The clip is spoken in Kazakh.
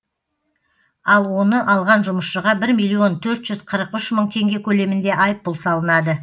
ал оны алған жұмысшыға бір миллион төрт жүз қырық үш мың теңге көлемінде айыппұл салынады